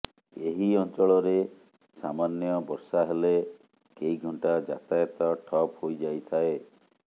ଏହି ଅଂଚଳରେ ସାମାନ୍ୟ ବର୍ଷା ହେଲେ କେଇଘଣ୍ଟା ଯାତାୟତ ଠପ୍ ହୋଇଯାଇଥାଏ